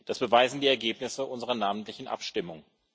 Das beweisen die Ergebnisse unserer namentlichen Abstimmung.